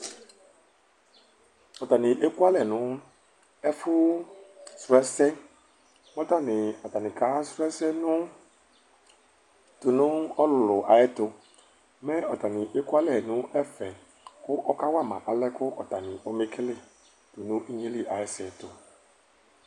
Ɔtani ekʋ alɛ nʋ ɛfʋ srɔɛsɛ, kʋ atani ka srɔɛsɛ tʋnʋ ɔlʋlʋ ayʋ ɛtʋ Mɛ ɔtani ekʋalɛ nʋ ɛfɛ kʋ ɔkawama alɛkʋ ɔtani ɔmekele nʋ inyeli ayʋ ɛsɛ ɛtʋ